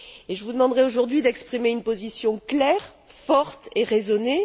Je vous demanderais aujourd'hui d'exprimer une position claire, forte et raisonnée.